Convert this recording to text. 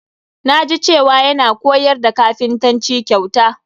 Na ji cewa yana koyar da kapintanci kyauta.